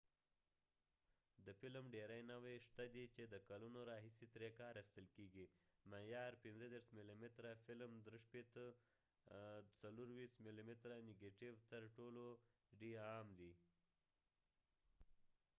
د فلم ډیری نوعی شته دي چې د کلونو راهیسی تری کار اخستل کېږی، معیاری 35 ملی متره فلم 36/24ملی متره نیګټیو تر ټولو ډی عام دي